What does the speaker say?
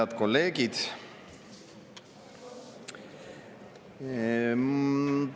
Head kolleegid!